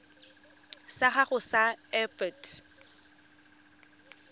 sa gago sa irp it